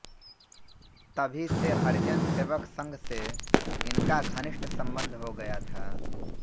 तभी से हरिजन सेवक संघ से इनका घनिष्ठ सम्बन्ध हो गया था